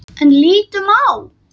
En lítum á.